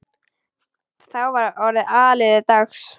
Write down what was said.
Þá var orðið áliðið dags.